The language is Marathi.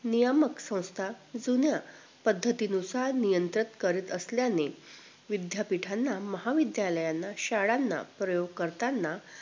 नियमक संस्था जुन्या पद्धती नुसार नियंत्रित करत असल्याने विध्यापिठाना, महाविद्यालयानं, शाळांना प्रयोग करताना